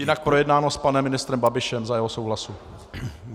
Jinak projednáno s panem ministrem Babišem, za jeho souhlasu.